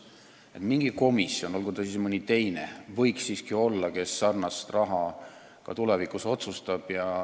Võiks siiski olla mingi komisjon, olgu see siis mõni teine komisjon, kes selle raha üle ka tulevikus otsustab.